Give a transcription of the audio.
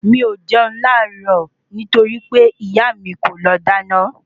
Mi ò jẹun láàárọ̀ nítorí pé ìyá mi kọ́ ló dáná